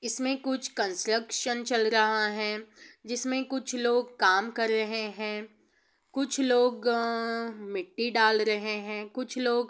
इसमें कुछ ट्रांजैक्शन चल रहा है इसमें कुछ लोग काम कर रहे हैं | कुछ लोग अ मिट्टी डाल रहे हैं |कुछ लोग--